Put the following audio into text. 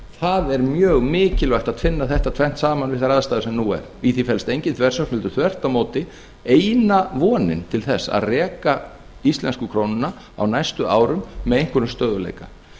það er mjög mikilvægt að tvinna þetta tvennt saman við þær aðstæður sem nú eru í því felst engin þversögn heldur þvert á móti eina vonin til þess að reka íslensku krónuna á næstu árum með einhverjum stöðugleika